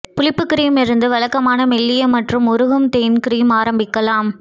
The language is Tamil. புளிப்பு கிரீம் இருந்து வழக்கமான மெல்லிய மற்றும் உருகும் தேன் கிரீம் ஆரம்பிக்கலாம்